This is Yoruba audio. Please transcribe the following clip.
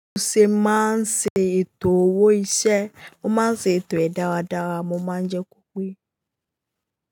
Mo ṣè máa ń ṣe ètò owó iṣẹ́, ó máa ń ṣe ètò ẹ̀ dáradára, mo máa ń jẹ́ kó pé.